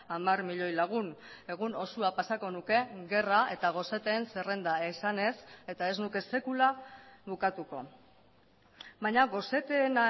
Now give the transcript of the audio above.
hamar milioi lagun egun osoa pasako nuke gerra eta goseteen zerrenda esanez eta ez nuke sekula bukatuko baina goseteen